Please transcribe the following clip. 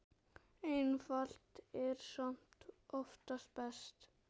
Einfalt er samt oftast best.